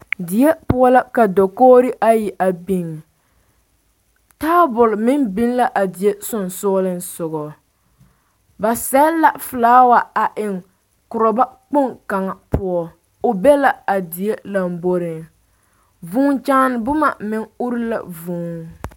Die poɔ la ka dakogri ayi biŋ taabol meŋ biŋ la a die sogaŋ ba sele la felaawa a eŋ korɔba kpoŋ kaŋ poɔ o be la a die lamboriŋ vuu kyaane boma meŋ uri la vuu